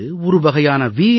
இது ஒரு வகையான வி